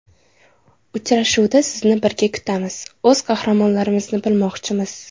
Uchrashuvda sizni birga kutamiz, o‘z qahramonlarimizni bilmoqchimiz.